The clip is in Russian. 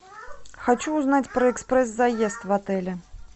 хочу узнать про экспресс заезд в отеле